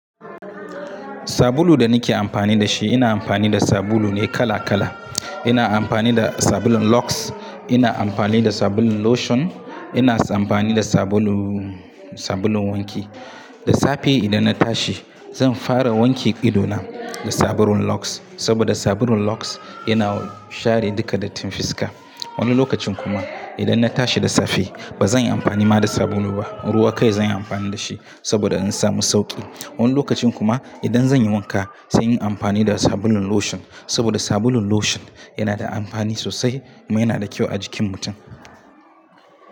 Sabulu da nake amfani da shi, ina amfani da sabulu ne kala kala. Ina amfani da sabulun Lux, ina amfani da sabulun Lotion, ina amfani da sabulu, sabulun wanki. Da safe idan na tashi zan fara wanke idona da sabulun Lux saboda sabulun Lux yana share duka dattin fiska. Wani lokacin kuma idan na tashi da safe ba zan yi amfani ma da sabulu ba, ruwa kai zan yi amfani da shi saboda in samu sauƙi. Wani lokacin kuma idan zan yi wanka zan yi amfani da sabulun Lotion saboda sabulun Lotion yana da amfani sosai, yana da kyau a jikin mutum.